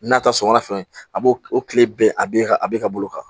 N'a ta sɔngɔ fɛn a b'o o kile bɛɛ a b'e ka a bɛ ka bolo kan